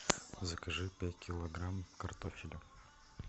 закажи пять килограмм картофеля